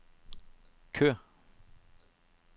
kør